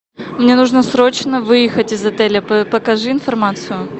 мне нужно срочно выехать из отеля покажи информацию